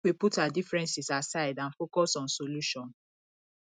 make we put our differences aside and focus on solution